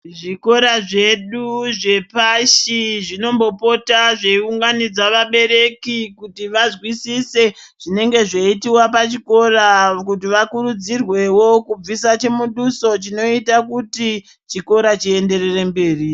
Zvikora zvedu zvepashi zvinombopota zveiunganidza vabereki kuti vazwisise zvinenge zveiitiwa pachikora kuti vakurudzirwewo kubvisa chimuduso chinoita kuti chikora chienderere mberi.